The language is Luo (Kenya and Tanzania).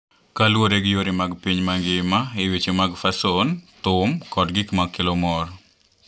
Kaluwore gi yore mag piny mangima e weche mag fason, thum, kod gik ma kelo mor.